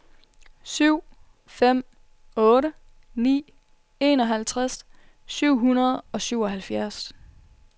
syv fem otte ni enoghalvtreds syv hundrede og syvoghalvfjerds